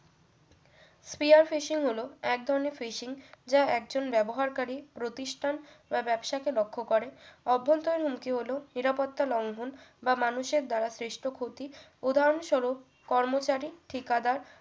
fear fishing হলো এক ধরনের fishing যা একজন ব্যবহারকারী প্রতিষ্ঠান বা ব্যবসা কে লক্ষ্য করে অভ্যন্তরীণ হুমকি হলো নিরাপত্তা লংঘন বা মানুষের দ্বারা সৃষ্ট ক্ষতি উদাহরণস্বরূপ কর্মচারী ঠিকাদার